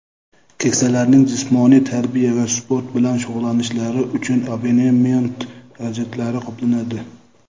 keksalarning jismoniy tarbiya va sport bilan shug‘ullanishlari uchun abonement xarajatlari qoplanadi;.